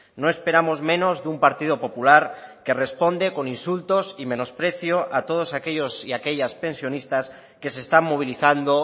no esperamos menos de un partido popular que responde con insultos y menosprecio a todos aquellos y aquellas pensionistas que se están movilizando